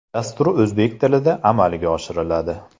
Dastur o‘zbek tilida amalga oshiriladi.